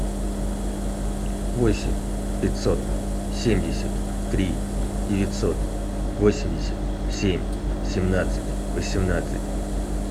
восемь пятьсот семьдесят три девятьсот восемьдесят семь семнадцать восемнадцать